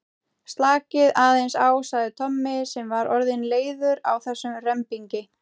Slakið aðeins á sagði Tommi sem var orðinn leiður á þessum rembingi.